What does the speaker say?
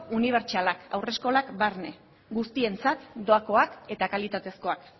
unibertsalak haur eskolak barne guztientzat doakoak eta kalitatezkoak